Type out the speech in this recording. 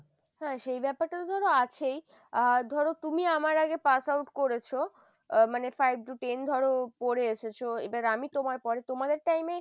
হ্যাঁ সেই ব্যাপারটা তো ধরো আছেই আহ ধরো তুমি আমার আগে pass out করেছো আহ মানে five to ten ধরো পড়ে এসেছো এবার আমি তোমার পরে তোমাদের time এ